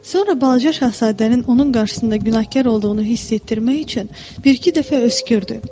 Sonra balaca şahzadənin onun qarşısında günahkar olduğunu hiss etdirmək üçün bir-iki dəfə öskürdü.